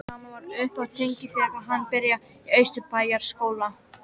Sama var uppi á teningnum þegar hann byrjaði í Austurbæjarskóla.